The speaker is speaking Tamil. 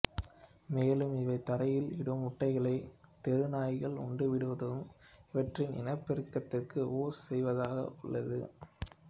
மேலும் இவை தரையில் இடும் முட்டைகளை தெருநாய்கள் உண்டுவிடுவதும் இவற்றின் இனப்பெருக்கத்துக்கு ஊரு செய்வதாக உள்ளது